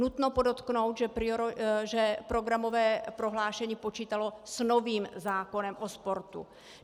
Nutno podotknout, že programové prohlášení počítalo s novým zákonem o sportu.